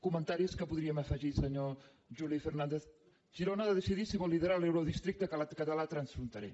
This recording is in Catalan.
comentaris que podríem afegir senyor juli fernandez girona ha de decidir si vol liderar l’eurodistricte català transfronterer